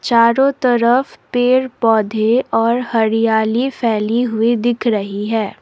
चारों तरफ पेड़ पौधे और हरियाली फैली हुई दिख रही है।